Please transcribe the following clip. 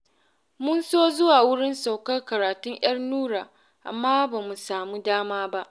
Mun so zuwa wurin saukar karatun 'yar Nura, amma ba mu samu dama ba